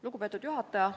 Lugupeetud juhataja!